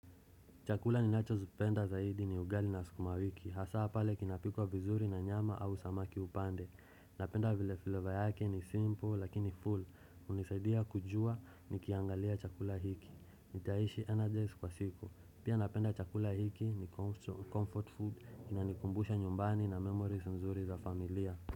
Chakula ni nacho zipenda zaidi ni ugali na sukumawiki. Hasaa pale kinapikwa vizuri na nyama au samaki upande. Napenda vile filova yake ni simple lakini full. Unisaidia kujua ni kiangalia chakula hiki. Nitaishi energies kwa siku. Pia napenda chakula hiki ni comfort food. Kina nikumbusha nyumbani na memories nzuri za familia.